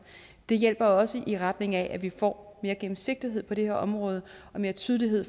det hjælper også i retning af at vi får mere gennemsigtighed på det her område og mere tydelighed